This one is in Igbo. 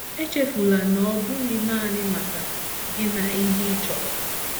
Echefula na ọ bụghị naanị maka gi na ihe ị chọrọ.